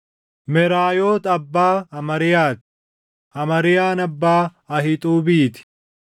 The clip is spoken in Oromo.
Meraayoot abbaa Amariyaa ti; Amariyaan abbaa Ahiixuubii ti;